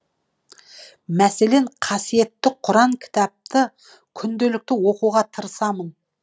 мәселен қасиетті құран кітапты күнделікті оқуға тырысамын